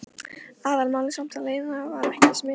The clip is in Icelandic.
Aðalmálið samt að Lena var ekki smituð.